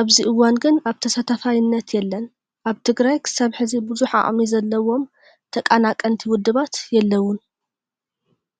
ኣብዚ እዋን ግን ኣብ ተሳታፋይነት የለን። ኣብ ትግራይ ክሳብ ሕዚ ብዙሕ ዓቅሚ ዘለዎም ተቃናቀንቲ ውድባት የለቡን።